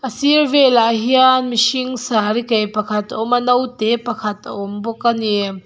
a sirah velah hian mihring saree kaih pakhat a awm a naute pakhat a awm bawk ani.